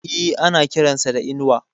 E, ana kiran sa da Inuwa.